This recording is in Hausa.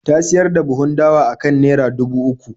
Ta siyar da buhun dawa akan naira dubu uku.